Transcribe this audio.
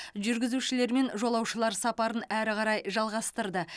жүргізушілер мен жолаушылар сапарын әрі қарай жалғастырды